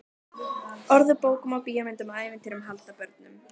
Orð úr bókum og bíómyndum, ævintýrum handa börnum.